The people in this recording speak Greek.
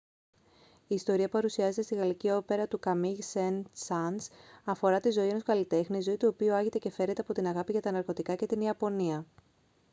η ιστορία που παρουσιάζεται στη γαλλική όπερα του καμίγ σεν-σανς αφορά τη ζωή ενός καλλιτέχνη «η ζωή του οποίου άγεται και φέρεται από την αγάπη για τα ναρκωτικά και την ιαπωνία»